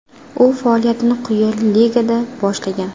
U faoliyatini quyi ligada boshlagan.